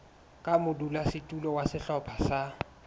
ka modulasetulo wa sehlopha sa